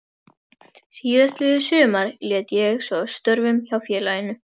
Síðastliðið sumar lét ég svo af störfum hjá félaginu.